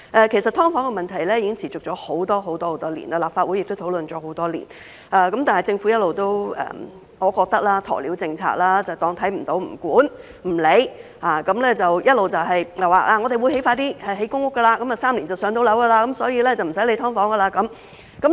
其實"劏房"問題已經持續了很多年，立法會亦討論了很多年，但我認為政府一直採取鴕鳥政策，看不到、不管、不理，而且一直表示會盡快興建公屋 ，3 年便能"上樓"，所以不用理會"劏房"。